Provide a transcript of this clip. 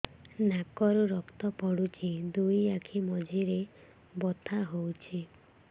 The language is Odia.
ନାକରୁ ରକ୍ତ ପଡୁଛି ଦୁଇ ଆଖି ମଝିରେ ବଥା ହଉଚି